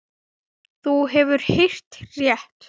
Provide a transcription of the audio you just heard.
Þú hefur heyrt rétt.